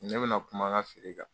Ne bɛna kuma nka feere kan.